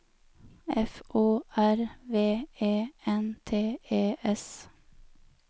F O R V E N T E S